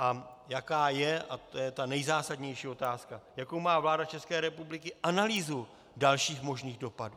A jaká je - a to je ta nejzásadnější otázka - jakou má vláda České republiky analýzu dalších možných dopadů.